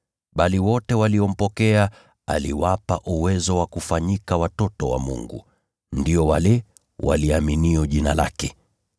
Bali wote waliompokea, aliwapa uwezo wa kufanyika watoto wa Mungu, ndio wale waliaminio jina lake.